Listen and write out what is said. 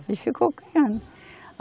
Ele ficou criando.